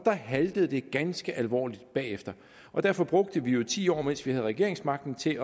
haltede ganske alvorligt bagefter derfor brugte vi ti år mens vi havde regeringsmagten til